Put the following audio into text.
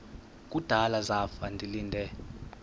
kudala zafa ndilinde